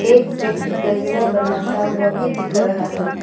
एक व्यक्ति गजरा बनाता हुआ भी दिख रहा है।